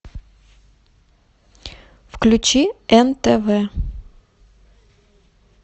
включи нтв